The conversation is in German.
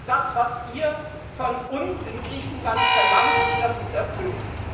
Das, was ihr von uns in Griechenland verlangt, ist erfüllt.